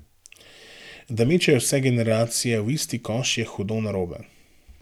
Da mečejo vse generacije v isti koš, je hudo narobe.